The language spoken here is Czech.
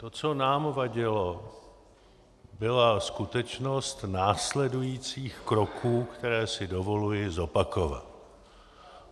To, co nám vadilo, byla skutečnost následujících kroků, které si dovoluji zopakovat.